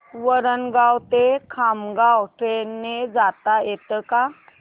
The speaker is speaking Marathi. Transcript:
वरणगाव ते खामगाव ट्रेन ने जाता येतं का